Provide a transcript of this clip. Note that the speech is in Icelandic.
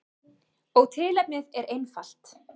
Og tilefnið er einfalt.